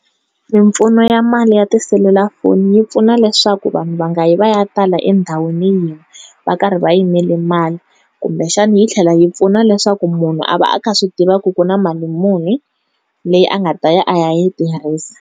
Mimpfuno ya mali ya ti-cellular foni yi pfuna leswaku vanhu va nga yi va ya tala endhawini yin'we va karhi va yimele mali, kumbexani yi tlhela yi pfuna leswaku munhu a va a kha a swi tiva ku ku na mali munhu leyi a nga ta ya a ya yi tirhisa.